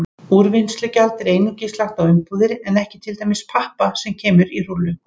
Úrvinnslugjald er einungis lagt á umbúðir en ekki til dæmis pappa sem kemur í rúllum.